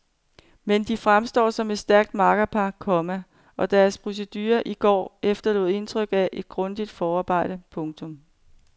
Men de fremstår som et stærkt makkerpar, komma og deres procedure i går efterlod indtryk af et grundigt forarbejde. punktum